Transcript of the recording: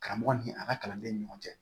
Karamɔgɔ ni a ka kalandenw ni ɲɔgɔn cɛ